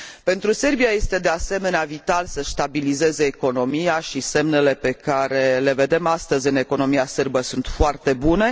Pentru Serbia este, de asemenea, vital să și stabilizeze economia, iar semnele pe care le vedem astăzi în economia sârbă sunt foarte bune.